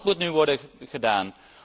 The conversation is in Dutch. Dat moet nu worden gedaan.